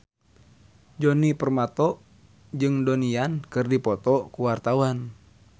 Djoni Permato jeung Donnie Yan keur dipoto ku wartawan